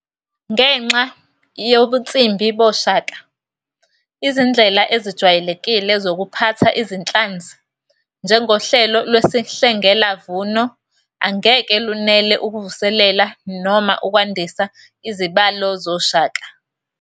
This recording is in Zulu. Ngenxa yobunsimbi boShaka, izindlela ezijwayelekile zokuphatha iziNhlanzi, njengohlelo lwesihlengelavuno, angeke lunele ukuvuselela noma ukwandisa izibalo zoShaka.